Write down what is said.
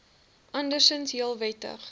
andersinds heel wettige